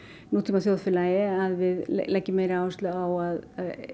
nútímaþjóðfélagi að við leggjum meiri áherslu á að